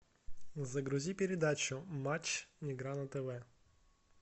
загрузи передачу матч игра на тв